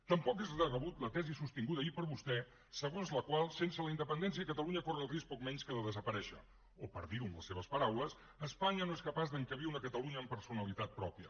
tampoc és de rebut la tesi sostinguda ahir per vostè segons la qual sense la independència catalunya corre el risc poc menys que de desaparèixer o per dirho amb les seves paraules espanya no és capaç d’encabir una catalunya amb personalitat pròpia